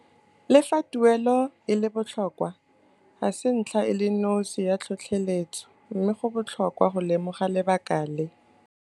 Le fa tuelo e le botlhokwa, ga se ntlha e le nosi ya tlhotlheletso mme go botlhokwa go lemoga lebaka le.